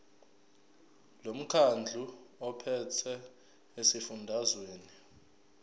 lomkhandlu ophethe esifundazweni